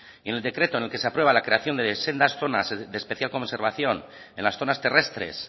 y en el decreto donde en el que se aprueba la creación de sendas zonas de especial conservación en las zonas terrestres